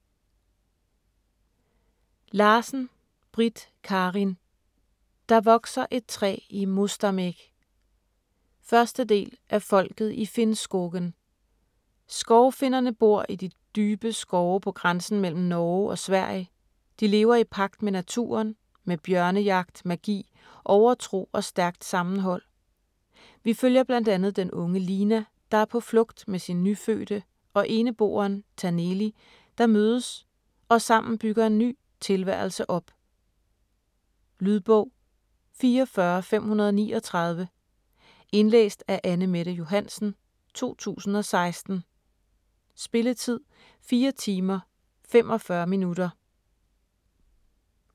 Larsen, Britt Karin: Der vokser et træ i Mostamägg 1. del af Folket i Finnskogen. Skovfinnerne bor i de dybe skove på grænsen mellem Norge og Sverige, de lever i pagt med naturen med bjørnejagt, magi, overtro og stærkt sammenhold. Vi følger bl.a. den unge Lina, der er på flugt med sin nyfødte og eneboeren Taneli, der mødes og sammen bygger en ny tilværelse op. Lydbog 44539 Indlæst af Anne-Mette Johansen, 2016. Spilletid: 4 timer, 45 minutter.